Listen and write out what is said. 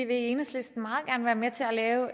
det er jo